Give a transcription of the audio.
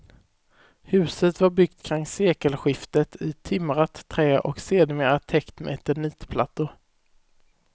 Huset var byggt kring sekelskiftet i timrat trä och sedermera täckt med eternitplattor.